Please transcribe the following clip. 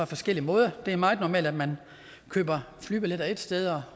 forskellige måder det er meget normalt at man køber flybilletter ét sted